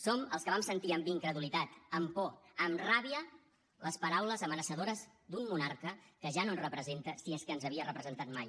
som els que vam sentit amb incredulitat amb por amb ràbia les paraules amenaçadores d’un monarca que ja no ens representa si és que ens havia representat mai